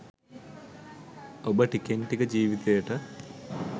ඔබ ටිකෙන් ටික ජීවිතයට